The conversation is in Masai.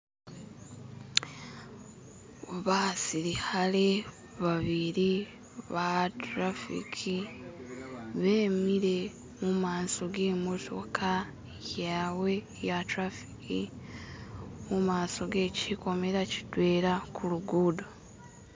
Basilikhale ba'bili ba trafic bemile mumaso ge'motoka yabwe ya trafic mumaso ge'kikomera ki'dwela kulugudo